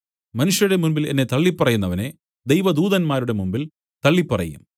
മനുഷ്യരുടെ മുമ്പിൽ എന്നെ തള്ളിപ്പറയുന്നവനെ ദൈവദൂതന്മാരുടെ മുമ്പിൽ തള്ളിപ്പറയും